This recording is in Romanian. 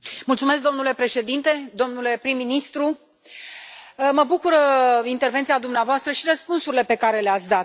Domnule președinte, domnule prim ministru, mă bucură intervenția dumneavoastră și răspunsurile pe care le ați dat.